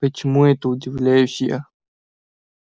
почему это удивляюсь я